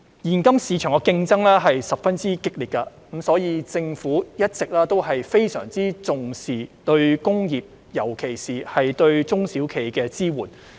現今市場的競爭十分激烈，所以政府一直非常重視對工業，尤其是對中小企的支援。